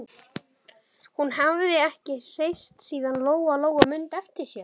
Hún hafði ekki hreyfst síðan Lóa-Lóa mundi eftir sér.